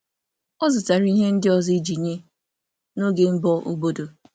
Ọ zụtara ihe ndị ọzọ iji nye n’oge mbọ obodo.